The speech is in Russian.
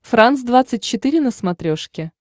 франс двадцать четыре на смотрешке